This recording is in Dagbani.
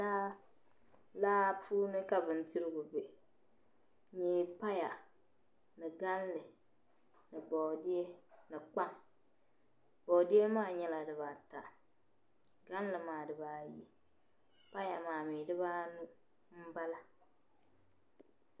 Laa, laa puuni kabi ndirigu be n nyɛ paya, ni galli ni bɔɔdiye bɔɔdiye maa nyɛla di ba ata, galli maa nyɛla di ba ayi, paya maa mi di ba anu n bala,